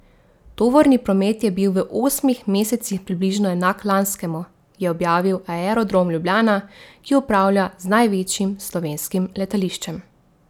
Tovorni promet je bil v osmih mesecih približno enak lanskemu, je objavil Aerodrom Ljubljana, ki upravlja z največjim slovenskim letališčem.